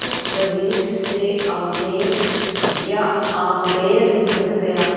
अम्बरीश से आमेर या आम्बेर बन गया